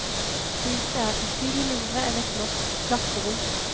Huset er betydelig mindre enn et norsk klasserom.